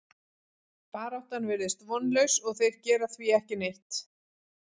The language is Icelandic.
Baráttan virðist vonlaus og þeir gera því ekki neitt.